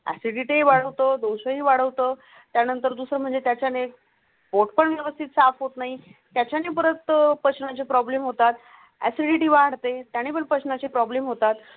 Acidity वाढवतो श्री वाढवतो त्यानंतर दुसरी म्हणजे त्याच्या फॉट पॅन व्यवस्थित साफ होत नाही. त्याच्याने परत पचनाची फ्रॉबलेम होतात. एसिडिटी वाढते त्याने पचनाची फ्रॉबलेम होतात